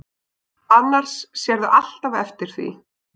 Annars sérðu alltaf eftir því.